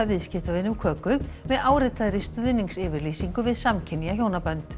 viðskiptavini um köku með áritaðri stuðningsyfirlýsingu við samkynja hjónabönd